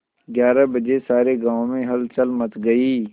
ग्यारह बजे सारे गाँव में हलचल मच गई